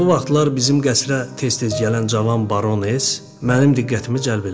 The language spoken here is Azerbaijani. Elə bu vaxtlar bizim qəsrə tez-tez gələn cavan baroness mənim diqqətimi cəlb elədi.